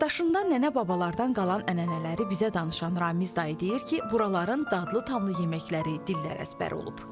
Yaddaşında nənə-babalardan qalan ənənələri bizə danışan Ramiz dayı deyir ki, buraların dadlı-tamlı yeməkləri dillər əzbəri olub.